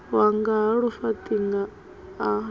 wanga ha lufaṱinga a lu